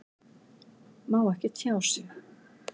Má ekki tjá sig